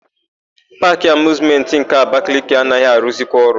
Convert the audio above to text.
Paakị Amịuzmentị nke Abakaliki anaghị arụzikwa ọrụ.